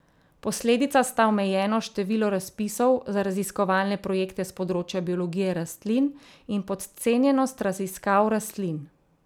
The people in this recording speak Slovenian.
Posledica sta omejeno število razpisov za raziskovalne projekte s področja biologije rastlin in podcenjenost raziskav rastlin.